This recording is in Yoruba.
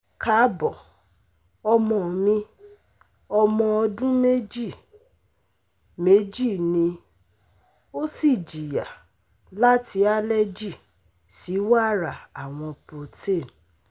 Kaabo, ọmọ mi ọmọ ọdun meji meji ni o si jiya lati allergy si wara awọn protein